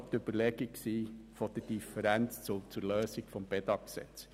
Deshalb lautet diese Lösung etwas anders als im Bedag-Gesetz.